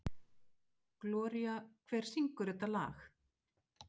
Gloría, hver syngur þetta lag?